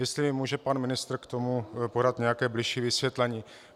Jestli může pan ministr k tomu podat nějaké bližší vysvětlení.